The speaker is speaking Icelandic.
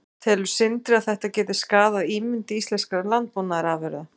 Telur Sindri að þetta geti skaðað ímynd íslenskra landbúnaðarafurða?